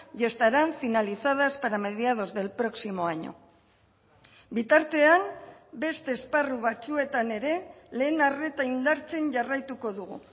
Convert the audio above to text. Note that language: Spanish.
y estarán finalizadas para mediados del próximo año bitartean beste esparru batzuetan ere lehen arreta indartzen jarraituko dugu